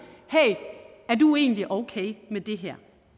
hey er du egentlig okay med det her